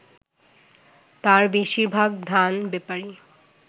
তার বেশির ভাগ ধান-বেপারী